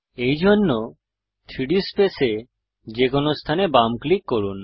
এইজন্য 3ডি স্পেসে যেকোনো স্থানে বাম ক্লিক করুন